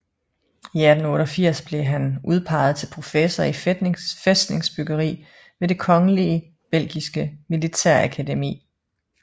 I 1888 blev han udpeget til professor i fæstningsbyggeri ved det kongelige belgiske militærakademi